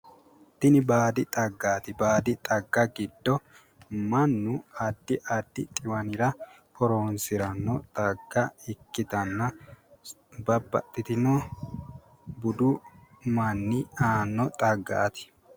tini baadi xaggaati baadi xagga giddo mannu addi addi xiwanira horonsiranno xagga ikkitanna babbaxitino budu manni aanno xaggaati.